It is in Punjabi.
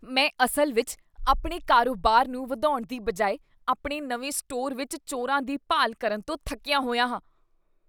ਮੈਂ ਅਸਲ ਵਿੱਚ ਆਪਣੇ ਕਾਰੋਬਾਰ ਨੂੰ ਵਧਾਉਣ ਦੀ ਬਜਾਏ ਆਪਣੇ ਨਵੇਂ ਸਟੋਰ ਵਿੱਚ ਚੋਰਾਂ ਦੀ ਭਾਲ ਕਰਨ ਤੋਂ ਥੱਕਿਆ ਹੋਇਆ ਹਾਂ।